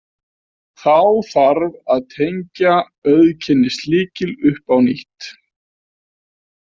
Þá þarf að tengja auðkennislykil upp á nýtt.